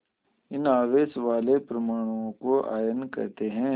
इन आवेश वाले परमाणुओं को आयन कहते हैं